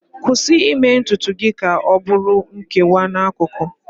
Kwụsị ime ntutu gị ka ọ bụrụ nkewa n'akụkụ